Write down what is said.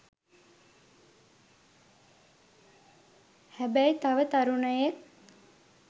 හැබැයි තව තරුණයෙක්